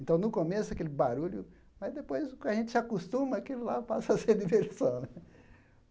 Então, no começo, aquele barulho, mas depois que a gente se acostuma, aquilo lá passa a ser diversão.